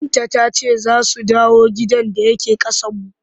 Binta ta ce za su dawo gidan da yake ƙasanmu.